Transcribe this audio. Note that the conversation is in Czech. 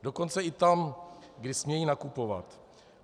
Dokonce i tam, kde smějí nakupovat.